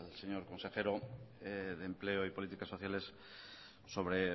señor consejero de empleo y políticas sociales sobre